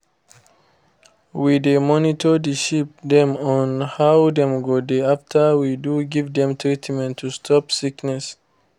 we dey monitor the sheep dem on how dem go dey after we do give dem treatment to stop sickness.